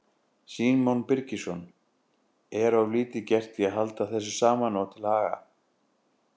Símon Birgisson: Er of lítið gert í að halda þessu saman og til haga?